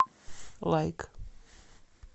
лайк